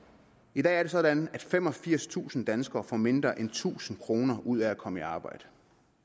i dag er det sådan at femogfirstusind danskere får mindre end tusind kroner ud af at komme i arbejde